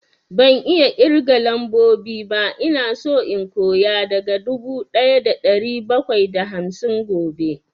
Ban iya ƙirgan lambobi ba, ina so in koya daga dubu ɗaya da ɗari bakwai da hamsin gobe